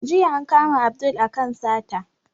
Jiya an kama Abdul a kan sata